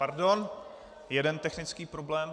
Pardon, jeden technický problém.